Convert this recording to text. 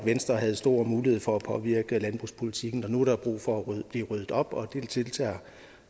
venstre havde stor mulighed for at påvirke landbrugspolitikken og nu er der brug for at blive ryddet op og det deltager